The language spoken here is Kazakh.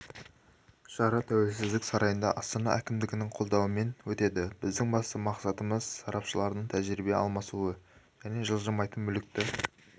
шара тәуелсіздік сарайында астана әкімдігінің қолдауымен өтеді біздің басты мақсатымыз сарапшылардың тәжірибе алмасуы және жылжымайтын мүлікті